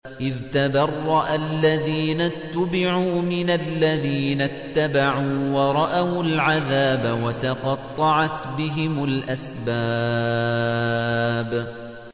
إِذْ تَبَرَّأَ الَّذِينَ اتُّبِعُوا مِنَ الَّذِينَ اتَّبَعُوا وَرَأَوُا الْعَذَابَ وَتَقَطَّعَتْ بِهِمُ الْأَسْبَابُ